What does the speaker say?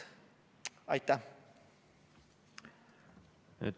Aitäh!